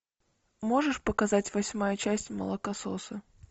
можешь показать восьмая часть молокососы